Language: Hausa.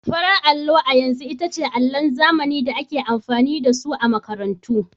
Farar allo a yanzu ita ce allon zamani da ake amfani da su a makarantu.